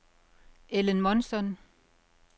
Ellen Månsson